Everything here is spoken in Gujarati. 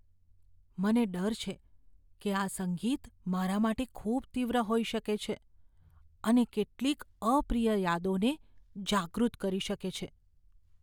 મને ડર છે કે આ સંગીત મારા માટે ખૂબ તીવ્ર હોઈ શકે છે અને કેટલીક અપ્રિય યાદોને જાગૃત કરી શકે છે.